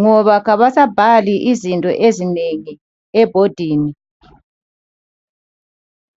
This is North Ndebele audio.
ngoba kabasabhali izinto ezinengi ebhodini.